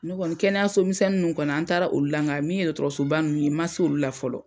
N kɔni kɛnɛyaso misɛnnin nunnu kɔni an taara olu la, nka min ye dɔgɔtɔrɔsoba nunnu ye ma se olu la fɔlɔ.